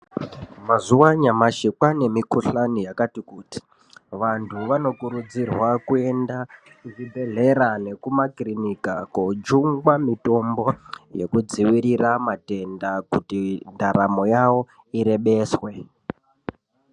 Mazuva anyamashi kwaanemukhuhlani yakati kuti. Vantu vanokurudzirwa kuenda kuzvibhedhlera nekumakirinika kojungwa mitombo yekudziirira matenda kuti ndaramo yavo irebeswe.